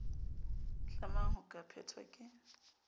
tlamang ho ka phethwa ke